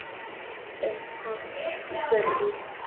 En hvað gerist.